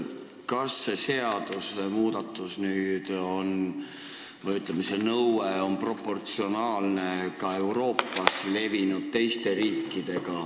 Kas see seadusmuudatus või nõue on proportsionaalne ka Euroopa teistes riikides levinud praktikaga?